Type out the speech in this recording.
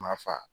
Ma fa